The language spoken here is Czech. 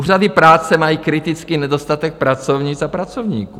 Úřady práce mají kritický nedostatek pracovnic a pracovníků.